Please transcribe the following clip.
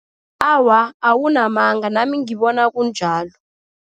Awa, awunamanga. Nami ngibona kunjalo.